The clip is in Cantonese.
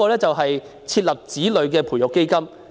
此外，設立子女培育基金。